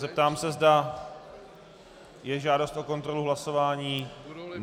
Zeptám se, zda je žádost o kontrolu hlasování.